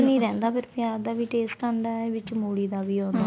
ਨਹੀਂ ਰਹਿੰਦਾ ਫੇਰ ਪਿਆਜ ਦਾ ਵੀ taste ਆਂਦਾ ਵਿੱਚ ਮੂਲੀ ਦਾ ਵੀ ਆਉਂਦਾ